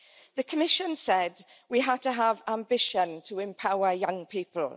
The Commission said we have to have ambition to empower young people.